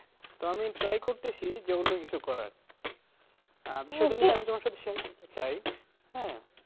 তো আমি try করতেসি যে অন্য কিছু করার আমি তোমার সাথে share করতে চাই হ্যাঁ